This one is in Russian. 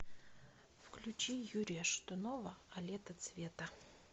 включи юрия шатунова а лето цвета